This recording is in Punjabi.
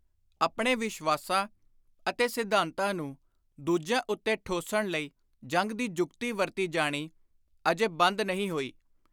ਆਪਣੇ ਵਿਸ਼ਵਾਸਾਂ ਅਤੇ ਸਿਧਾਂਤਾਂ ਨੂੰ ਦੁਜਿਆਂ ਉੱਤੇ ਠੋਸਣ ਲਈ ਜੰਗ ਦੀ ਜੁਗਤੀ ਵਰਤੀ ਜਾਣੀ ਅਜੇ ਬੰਦ ਨਹੀਂ ਹੋਈ।